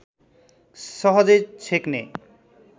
सहजै छेक्ने